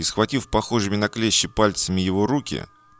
и схватив похожими на клещи пальцами его руки